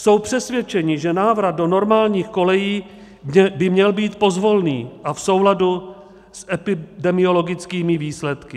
Jsou přesvědčeni, že návrat do normálních kolejí by měl být pozvolný a v souladu s epidemiologickými výsledky.